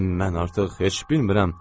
Mən artıq heç bilmirəm.